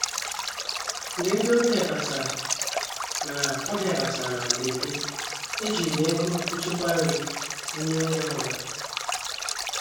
Mgbe ndị ọbịa batara na ọbịa batara na mberede, ejiri m ego nchekwa nri wụnye ngwa ngwa.